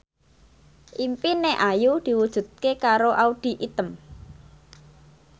impine Ayu diwujudke karo Audy Item